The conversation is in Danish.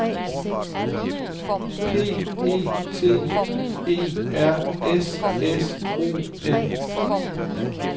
P E T E R S S O N